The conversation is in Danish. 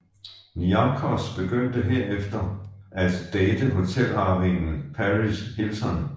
Niarchos begyndte derefter at date hotelarvingen Paris Hilton